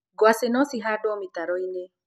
gwacĩ no cihandwo mĩtaroinĩ.